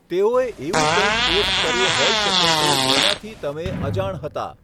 તેઓએ એવું કંઈક પોસ્ટ કર્યું હોઈ શકે છે જેનાથી તમે અજાણ હતા.